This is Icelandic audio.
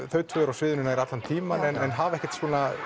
þau tvö eru á sviðinu nær allan tímann en hafa ekkert